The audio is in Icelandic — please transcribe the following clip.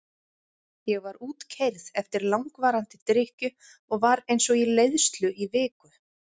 Ég var útkeyrð eftir langvarandi drykkju og var eins og í leiðslu í viku.